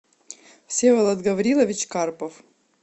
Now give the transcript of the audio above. всеволод гаврилович карпов